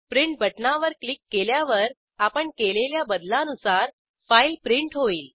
print बटणावर click केल्यावर आपण केलेल्या बदलानुसार फाईल प्रिंट होईल